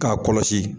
K'a kɔlɔsi